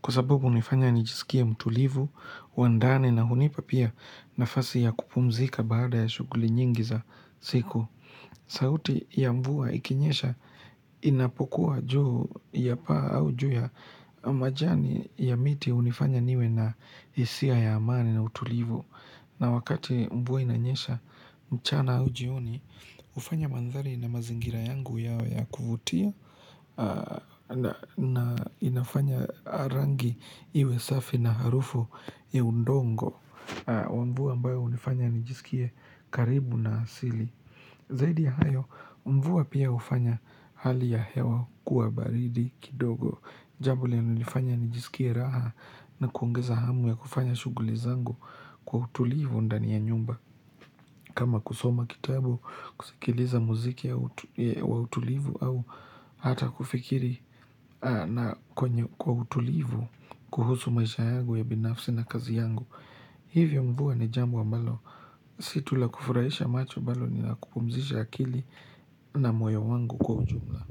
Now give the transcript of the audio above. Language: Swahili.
kwa sababu hunifanya nijisikie mtulivu, wandani na hunipa pia nafasi ya kupumzika baada ya shuguli nyingi za siku. Sauti ya mvua ikinyesha inapokuwa juu ya pa au juu ya majani ya miti unifanya niwe na hisia ya amani na utulivu. Na wakati mVua inanyesha mchana au jioni, hufanya mandhari na mazingira yangu yawe ya kuvutia na inafanya rangi iwe safi na harufu ya udongo wa mvua hunifanya nijisikie karibu na asili Zaidi ya hayo, mvua pia hufanya hali ya hewa kuwa baridi kidogo Jambo linalo nifanya nijisikie raha ni kuongeza hamu ya kufanya shughuli zangu kwa utulivu ndani ya nyumba kama kusoma kitabu, kusikiliza muziki ya utulivu au hata kufikiri na kwenye kwa utulivu kuhusu maisha yangu ya binafsi na kazi yangu Hivyo mvua ni jambo ambalo, si tu la kufurahisha macho bali ni la kupumzisha akili na moyo wangu kwa ujumla.